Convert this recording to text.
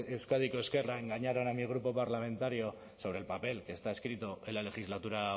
euskadiko ezkerra engañaron a mi grupo parlamentario sobre el papel que está escrito en la legislatura